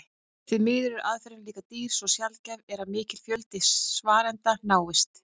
Því miður er aðferðin líka dýr svo sjaldgæft er að mikill fjöldi svarenda náist.